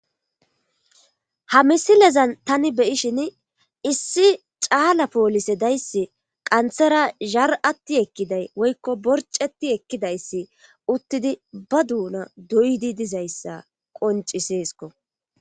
Ha misilezan tani beyishin issi caala poolise dayssi qanthera zhar7atti ekkiday woykko borceti ekkidayssi uttidi ba duuna doydi dizayssa qoncisesko.